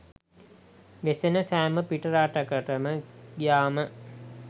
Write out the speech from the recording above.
වෙසෙන සෑම පිටරටකටම ගියාම